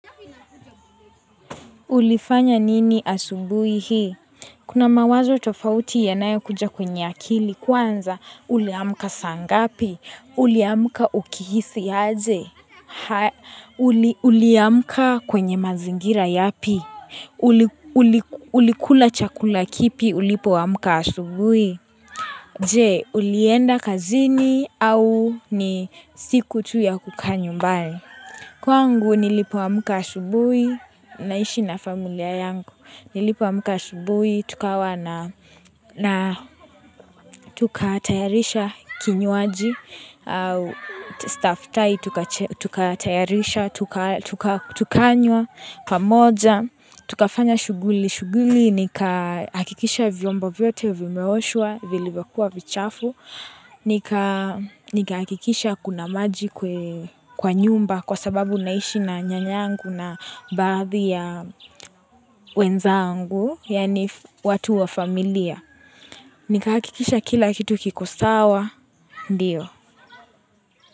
Ulifanya nini asubuhi hii? Kuna mawazo tofauti yanayo kuja kwenye akili kwanza, uliamka sangapi, uliamka ukihisi aje, uliamka kwenye mazingira yapi, ulikula chakula kipi ulipoamka asubuhi. Je, ulienda kazini au ni siku tu ya kukaa nyumbari. Kwangu nilipoamka asubuhi, naishi na familia yangu, nilipoamka asubuhi, tukatayarisha kinywaji, staftahi, tukatayarisha, tukanywa, pamoja, tukafanya shuguli. Kili shuguli nika hakikisha vyombo vyote vimeoshwa, vilivyokuwa vichafu. Nika hakikisha kuna maji kwa nyumba kwa sababu naishi na nyanyangu na baadhi ya wenzangu, yani watu wa familia. Nika hakikisha kila kitu kikosawa, ndio.